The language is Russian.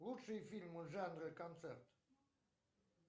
лучшие фильмы жанра концерт